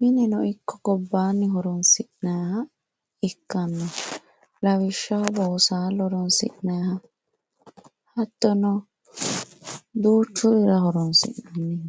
mineno ikko gobaanni horonsinayiiha ikkanno lawishshaho boosaallo horonsi'nayiiha hattono duuchurira horonsi'nanni